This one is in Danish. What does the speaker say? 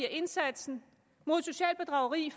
at indsatsen mod socialt bedrageri